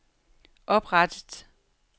oprettet